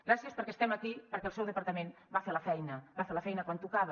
gràcies perquè estem aquí perquè el seu departament va fer la feina va fer la feina quan tocava